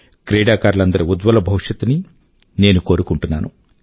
క్రీడాకారులందరి ఉజ్వల భవిష్యత్తు ని నేను కోరుకుంటున్నాను